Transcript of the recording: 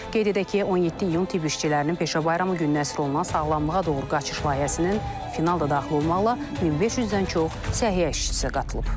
Qeyd edək ki, 17 iyun tibb işçilərinin peşə bayramı gününə əsr olunan sağlamlığa doğru qaçış layihəsinin final da daxil olmaqla 1500-dən çox səhiyyə işçisi qatılıb.